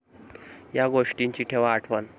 या गोष्टींची ठेवा आठवण